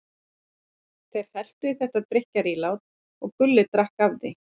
Þeir helltu í þetta drykkjarílát og Gulli drakk af því.